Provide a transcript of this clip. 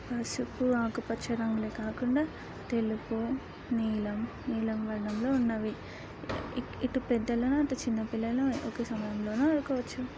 ఆ చుట్టూ పసుపు ఆకుపచ్చ రంగ్లే కాకుండా తెలుపు నీలం నీలం వర్ణంలో ఉన్నవి. ఇటు ఇటు పెద్దల అటు చిన్న పిల్లల ఒకే సమయంలోన ఆడుకోవచ్చు.